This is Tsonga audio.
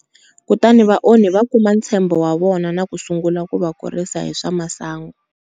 Kutani vaonhi va kuma ntshembo wa vona na ku sungula ku va kurisa hi swa masangu.